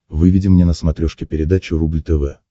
выведи мне на смотрешке передачу рубль тв